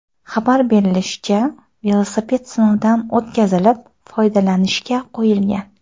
Xabar berishlaricha, velosiped sinovdan o‘tkazilib, foydalanishga qo‘yilgan.